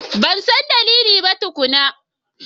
Ban san dalili ba tukuna.